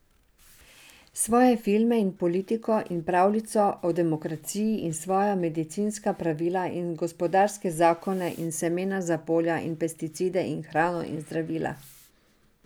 Svoje filme in politiko in pravljico o demokraciji in svoja medicinska pravila in gospodarske zakone in semena za polja in pesticide in hrano in zdravila.